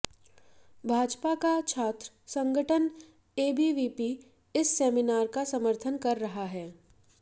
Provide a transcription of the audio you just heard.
भाजपा का छात्र संगठन एबीवीपी इस सेमिनार का समर्थन कर रहा है